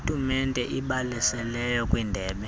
tumente ibalaseleyo kwindebe